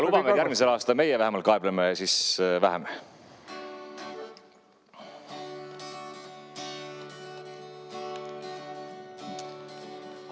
Lubame, et järgmisel aastal meie vähemalt kaebleme vähem.